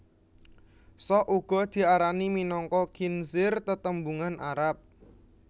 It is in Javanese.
Sok uga diarani minangka khinzir tetembungan Arab